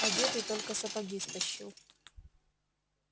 одетый только сапоги стащил